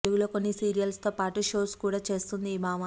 తెలుగులో కొన్ని సీరియల్స్ తో పాటు షోస్ కూడా చేస్తుంది ఈ భామ